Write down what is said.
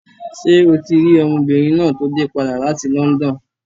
Ṣé o ti rí ọmọbìnrin náà tó dé padà láti London?